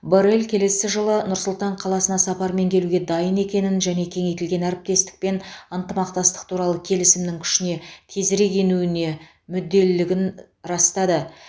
боррелл келесі жылы нұр сұлтан қаласына сапармен келуге дайын екенін және кеңейтілген әріптестік пен ынтымақтастық туралы келісімнің күшіне тезірек енуіне мүдделілігін растады